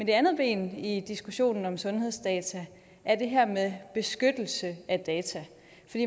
det andet ben i diskussionen om sundhedsdata er det her med beskyttelse af data